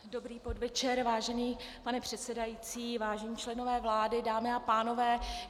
Dobrý podvečer, vážený pane předsedající, vážení členové vlády, dámy a pánové.